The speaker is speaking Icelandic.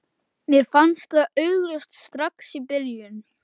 Mér fannst það augljóst strax í byrjun.